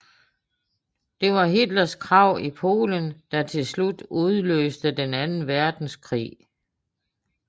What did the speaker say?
Det var Hitlers krav i Polen der til slut udløste den anden verdenskrig